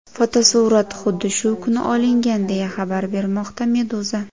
Fotosurat xuddi shu kuni olingan, deya xabar bermoqda Meduza.